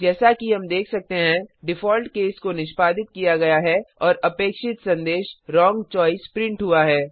जैसा कि हम देख सकते हैं डिफॉल्ट केस को निष्पादित किया गया है और अपेक्षित संदेश व्रोंग चोइस प्रिंट हुआ है